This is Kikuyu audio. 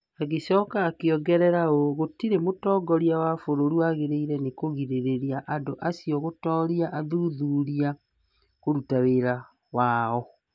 Agĩcoka akĩongerera ũũ: "Gũtirĩ mũtongoria wa bũrũri wagĩrĩirũo nĩ kũgirĩrĩria andũ acio gũtooria athuthuria kũruta wĩra wao.